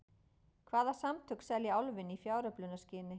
Hvaða samtök selja Álfinn í fjáröflunarskyni?